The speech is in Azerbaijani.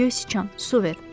Göy siçan, su ver!